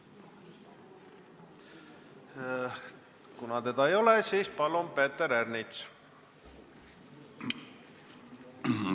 Kuna teda ei ole, siis palun, Peeter Ernits!